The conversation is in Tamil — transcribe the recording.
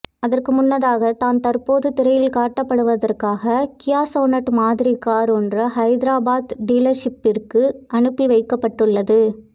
அதற்கு முன்னதாக தான் தற்போது திரையில் காட்டப்படுவதற்காக கியா சொனெட் மாதிரி கார் ஒன்று ஹைதராபாத் டீலர்ஷிப்பிற்கு அனுப்பி வைக்கப்பட்டுள்ளது